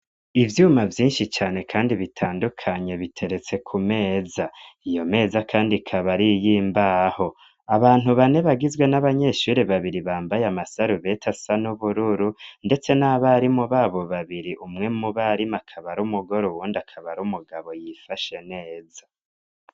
Ivyuma vyinshi cane, kandi bitandukanye biteretse ku meza iyo meza, kandi kabariyimbaho abantu bane bagizwe n'abanyeshuri babiri bambaye amasarubeta sa n'ubururu, ndetse n'abari mu babo babiri umwe mu barimu akabaro umugore uwundi akabaro umugabo yifashe neza.